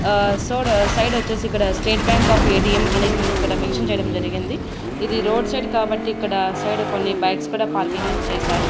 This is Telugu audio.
ఆ సోడ సైడ్ వచ్చేసి ఇక్కడ స్టేట్ బ్యాంక్ ఆఫ్ ఏ_టీ_ఎం అని అనేది మనకి ఇక్కడ మెన్షన్ చేయడం జరిగింది ఇది రోడ్ సైడ్ కాబట్టి ఇక్కడ సైడ్ కొన్ని బైక్స్ కూడా పార్కింగ్ అని చేశారు.